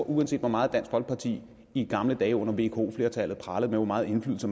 uanset hvor meget dansk folkeparti i gamle dage under vko flertallet pralede med hvor meget indflydelse